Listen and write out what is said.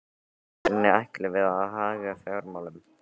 Hvernig ætlum við að haga fjármálunum?